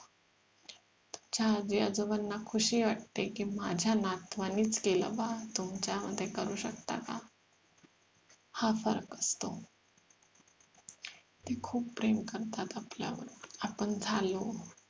त्या आजी आजोबांना खुशी वाटते की माझ्या नातवानेच केलं बा तुमच्या करू शकतात का हा फरक असतो ते खूप प्रेम करतात आपल्यावर आपण झालो